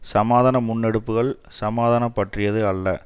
சமாதான முன்னெடுப்புகள் சமாதானம் பற்றியது அல்ல